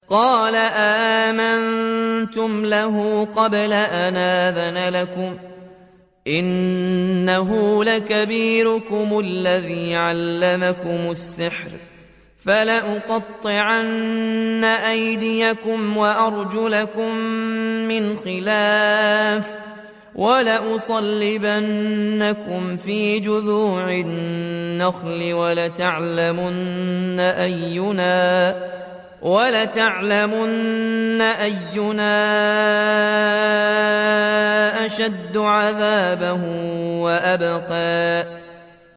قَالَ آمَنتُمْ لَهُ قَبْلَ أَنْ آذَنَ لَكُمْ ۖ إِنَّهُ لَكَبِيرُكُمُ الَّذِي عَلَّمَكُمُ السِّحْرَ ۖ فَلَأُقَطِّعَنَّ أَيْدِيَكُمْ وَأَرْجُلَكُم مِّنْ خِلَافٍ وَلَأُصَلِّبَنَّكُمْ فِي جُذُوعِ النَّخْلِ وَلَتَعْلَمُنَّ أَيُّنَا أَشَدُّ عَذَابًا وَأَبْقَىٰ